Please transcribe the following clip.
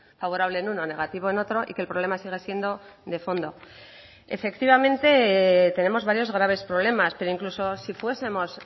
favorable en uno negativo en otro y que el problema sigue siendo de fondo efectivamente tenemos varios graves problemas pero incluso si fuesemos